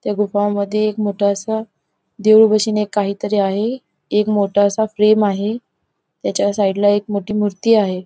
त्या गुफामध्ये एक मोठंसं देऊळ बशीन एक काहीतरी आहे एक मोठासा फ्रेम आहे त्याच्या साईड ला एक मोठी मूर्ती आहे.